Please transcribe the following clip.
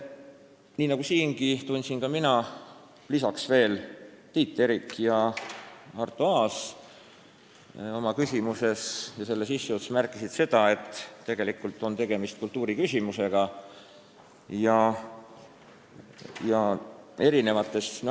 Nii nagu siingi, märkisin mina ja lisaks märkisid veel Tiit Terik ja Arto Aas oma küsimustes, et tegelikult on tegemist kultuuriküsimusega ja probleem on tõesti olemas.